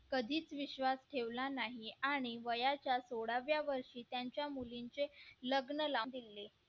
कधीच विश्वास ठेवला नाही आणि वयाच्या सोळाव्या वर्षी त्यांच्या मुलींचे लग्न लाऊन दिले